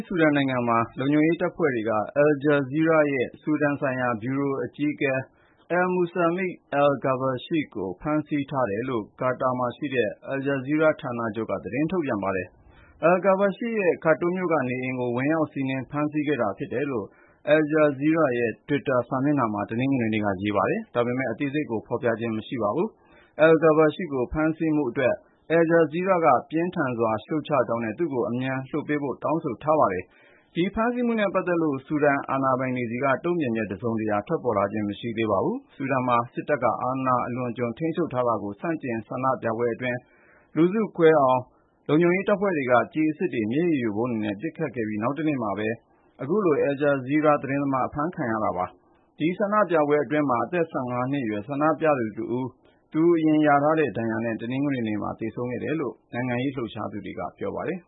ဆူဒန်နိုင်ငံမှာ လုံခြုံရေးတပ်ဖွဲ့က Al-Jazeera ရဲ့ ဆူဒန်ဆိုင်ရာဗျူရို အကြီးအကဲ El Musalmi El Kabbashi ကို ဖမ်းဆီးထားတယ်လို့ ကာတာမှာရှိတဲ့ Al-Jazeera ဌာနချုပ်က သတင်းထုတ်ပြန်ပါတယ်။ El Kabbashi ရဲ့ Khartoum မြို့က နေအိမ်ကို ဝင်ရောက်စီးနင်း ဖမ်းဆီးတာ ဖြစ်တယ်လို့ Al-Jazeera ရဲ့ Twitter စာမျက်နှာမှာ တနင်္ဂနွေနေ့က ရေးပါတယ်။ ဒါပေမယ့် အသေးစိတ်ကို ဖော်ပြခြင်း မရှိပါဘူး။ El Kabbashi ကို ဖမ်းဆီးမှုအတွက် Al-Jazeera က ပြင်းထန်စွာ ရှုတ်ချကြောင်းနဲ့ သူ့ကို အမြန်ပြန်လွှတ်ပေးဖို့ တောင်းဆိုထားပါတယ်။ ဒီဖမ်းဆီးမှုနဲ့ပတ်သက်လို့ ဆူဒန် အာဏာပိုင်တွေဆီက တုံ့ပြန်ချက် တစုံတရာ ထွက်ပေါ်လာတာ မရှိသေးပါဘူး။ ဆူဒန်မှာ စစ်တပ်က အာဏာအလွန်အကျွံ ထိန်းချုပ်ထားတာကို ဆန့်ကျင်တဲ့ ဆန္ဒပြပွဲအတွင်း လူစုကွဲသွားအောင် လုံခြုံရေးတပ်ဖွဲ့က ကျည်အစစ်တွေ၊ မျက်ရည်ယိုဗုံးတွေနဲ့ ပစ်ခတ်ခဲ့ပြီး နောက်တနေ့မှာပဲ Al-Jazeera ဗျူရိုအကြီးအကဲ အဖမ်းခံရတဲ့ဖြစ်ရပ် ပေါ်လာတာပါ။ အဲဒီဆန္ဒပြပွဲအတွင်း အသက် ၁၅ နှစ်အရွယ် ဆန္ဒပြသူတဦး သူရထားတဲ့ဒဏ်ရာနဲ့ တနင်္ဂနွေနေ့မှာ သေဆုံးသွားတယ်လို့ နိုင်ငံရေးလှုပ်ရှားသူတွေက ပြောပါတယ်